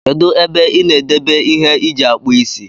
Kedu ebe ebe ina edebe ihe iji akpụ isi.